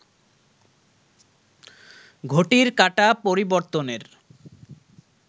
ঘটির কাঁটা পরিবর্তনের